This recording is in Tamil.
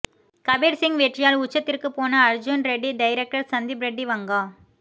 கபீர் சிங் வெற்றியால் உச்சத்திற்குப் போன அர்ஜூன் ரெட்டி டைரக்டர் சந்தீப் ரெட்டி வங்கா